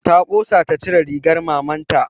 Ta ƙosa ta cire rigar maman ta